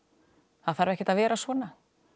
það þarf ekkert að vera svona